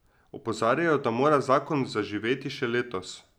Opozarjajo, da mora zakon zaživeti še letos.